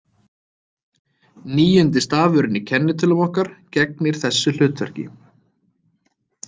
Níundi stafurinn í kennitölum okkar gegnir þessu hlutverki.